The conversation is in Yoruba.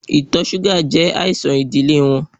Itọ ṣuga jẹ aisan idile wọn